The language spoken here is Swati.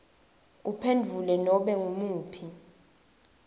uphendvule nobe ngumuphi